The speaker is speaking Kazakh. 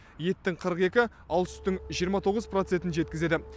еттің қырық екі ал сүттің жиырма тоғыз процентін жеткізеді